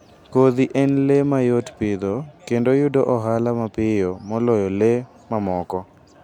Kodhi en le ma yot pidho kendo yudo ohala mapiyo moloyo le mamoko.